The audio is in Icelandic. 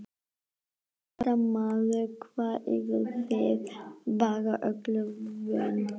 Fréttamaður: Hvað, eruð þið bara öllu vön?